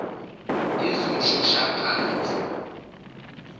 yezomshoshaphansi